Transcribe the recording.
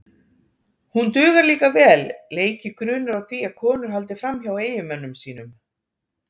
Hún dugar líka vel leiki grunur á því að konur haldi fram hjá eiginmönnum sínum.